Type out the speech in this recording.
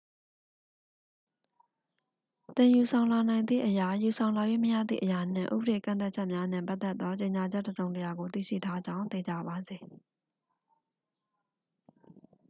သင် ယူဆောင်လာနိုင်သည့်အရာ ယူဆောင်လာ၍မရသည့်အရာနှင့် ဥပဒေကန့်သတ်ချက်များနှင့်ပတ်သက်သော ကြေညာချက်တစ်စုံတစ်ရာကို သိရှိထားကြောင်း သေချာပါစေ